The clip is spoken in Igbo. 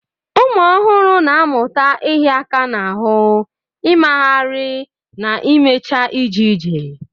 Ụmụ ọhụrụ na-amụta ịhịa aka n'ahụ, ịmagharị, na imecha ije ije.